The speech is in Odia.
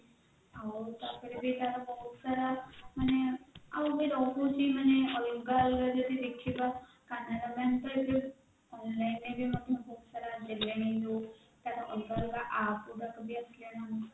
ଆଉ ତାପରେ ବ ତାର ବହୁତ ସାରା ମାନେ ଆଉ ବ ରହୁଛି ମାନେ ଅଲଗା ଅଲଗା ଯଦି ଦେଖିବା canara bank ରେ ଏବେ online ରେ ବି ମଧ୍ୟ ବହୁତ ସାରା ଆସିଗଲାଣି ଯୋଉ ତାର ଅଲଗା ଅଲଗା aap ଗୁଡାକ ବି ଆସିଲାଣି